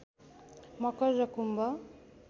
मकर र कुम्भ